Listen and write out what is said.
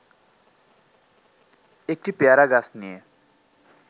একটি পেয়ারা গাছ নিয়ে